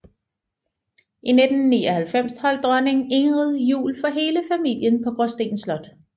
I 1999 holdt dronning Ingrid jul for hele familien på Gråsten Slot